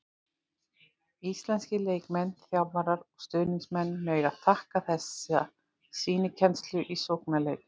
Íslenskir leikmenn, þjálfarar og stuðningsmenn mega þakka þessa sýnikennslu í sóknarleik.